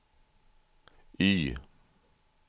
Y